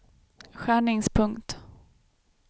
skärningspunkt